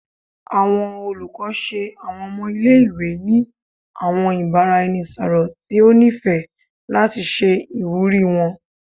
Awọn olukọ ṣe awọn ọmọ ile-iwe ni awọn ibaraẹnisọrọ ti o nifẹ lati ṣe iwuri wọn